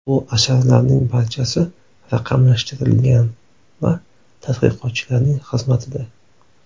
Bu asarlarning barchasi raqamlashtirilgan va tadqiqotchilarning xizmatida.